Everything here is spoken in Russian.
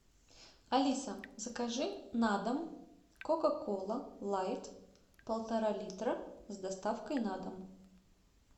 алиса закажи на дом кока кола лайт полтора литра с доставкой на дом